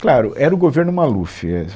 Claro, era o governo Maluf, é